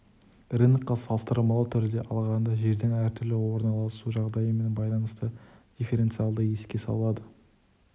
рынокқа салыстырмалы түрде алғанда жердің әртүрлі орналасу жағдайымен байланысты дифференциалды еске салады